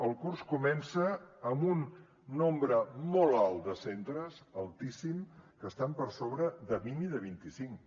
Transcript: el curs comença amb un nombre molt alt de centres altíssim que estan per sobre de vint i de vint i cinc